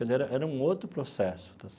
Quer dizer era era um outro processo.